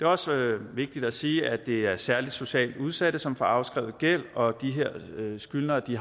også vigtigt at sige at det er særlig socialt udsatte som får afskrevet gæld og at de her skyldnere i